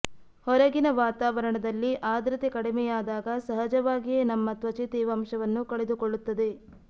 ಹೊರಗಿನ ವಾತಾವರಣದಲ್ಲಿ ಆದ್ರತೆ ಕಡಿಮೆಯಾದಾಗ ಸಹಜವಾಗಿಯೇ ನಮ್ಮ ತ್ವಚೆ ತೇವಾಂಶವನ್ನು ಕಳೆದುಕೊಳ್ಳುತ್ತದೆ